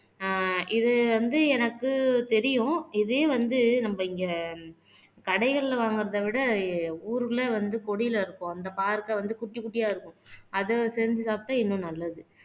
அஹ் இது வந்து எனக்கு தெரியும் இதே வந்து நம்ம இங்க கடைகள்ல வாங்கறதை விட ஊருக்குள்ள வந்து கொடியில இருக்கும் அந்த பாகற்காய் வந்து குட்டி குட்டியா இருக்கும் அத செஞ்சு சாப்பிட்டா இன்னும் நல்லது.